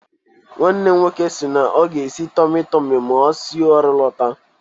Nwanne m nwoke sịrị na ọ ga-esi tọmị tọmị ma o si ọrụ lọta